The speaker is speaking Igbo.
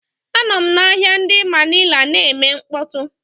Anọm na ahịa ndi Manila na-eme mkpọtụ.